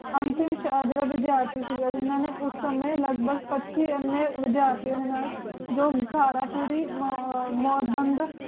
ਆਸਿਮ ਸ਼ਾਹ ਦਾ ਵਿਦਿਆਰਥੀ ਸੀ ਅਤੇ ਨਾ ਹੀ ਉਸ ਸਮੇਂ ਲਗਦਾ ਸੀ ਵਿਦਿਆਰਥੀਆਂ ਦੇ ਨਾਲ ਯੋਗਾ ਦਾ ਪੂਰੀ ਮੌਜ ਬੰਦ